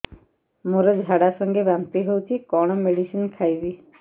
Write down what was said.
ମୋର ଝାଡା ସଂଗେ ବାନ୍ତି ହଉଚି କଣ ମେଡିସିନ ଖାଇବି